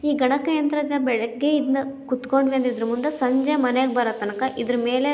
ಈ ಗಣಕಯಂತ್ರ ದ ಬೆಳಿಗ್ಗೆಯಿಂದ ಕುತ್ಕೊಂಡ್ ಬಂದಿದ್ದು ಮುಂದೆ ಸಂಜೆ ಮನೆಗ್ ಬರೋ ತನಕ ಇದರ ಮೇಲೆ --